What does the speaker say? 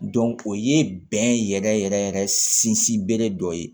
o ye bɛn yɛrɛ yɛrɛ yɛrɛ sinsinbere dɔ ye